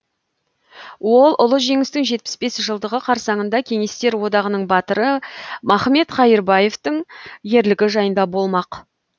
ол ұлы жеңістің жетпіс бес жылдығы қарсаңында кеңестер одағының батыры махмет қайырбаевтың ерлігі жайында болмақ